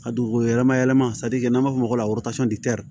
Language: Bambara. A dugukolo yɛlɛma yɛlɛma n'an b'a f'o ma